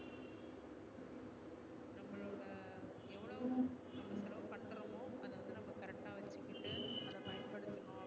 அத பயன்படுத்தனும்